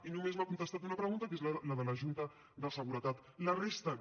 i només m’ha contestat una pregunta que és la de la junta de seguretat la resta no